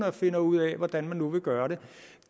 og finder ud af hvordan man nu vil gøre det